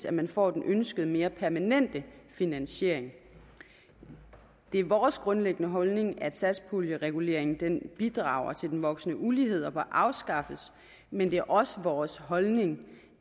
at man får den ønskede og mere permanente finansiering det er vores grundlæggende holdning at satspuljereguleringen bidrager til den voksende ulighed og bør afskaffes men det er også vores holdning